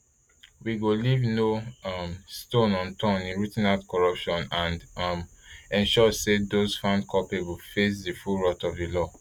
we go leave no um stone unturned in rooting out corruption and um ensure say dose found culpable face di full wrath of di law